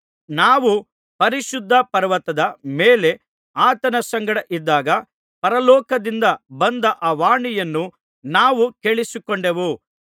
ನಾವು ಪರಿಶುದ್ಧ ಪರ್ವತದ ಮೇಲೆ ಆತನ ಸಂಗಡ ಇದ್ದಾಗ ಪರಲೋಕದಿಂದ ಬಂದ ಆ ವಾಣಿಯನ್ನು ನಾವು ಕೇಳಿಸಿಕೊಂಡೆವು